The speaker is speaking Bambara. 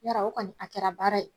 Yara o kɔni a kɛra baara ye